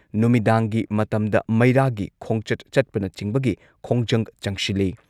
ꯅꯨꯃꯤꯗꯥꯡꯒꯤ ꯃꯇꯝꯗ ꯃꯩꯔꯥꯒꯤ ꯈꯣꯡꯆꯠ ꯆꯠꯄꯅꯆꯤꯡꯕꯒꯤ ꯈꯣꯡꯖꯪ ꯆꯪꯁꯤꯜꯂꯤ꯫